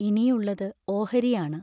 ഇനിയുള്ളത് ഓഹരിയാണ്.